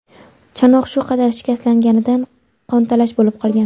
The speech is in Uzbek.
Chanoq shu qadar shikastlanganidan qontalash bo‘lib qolgan.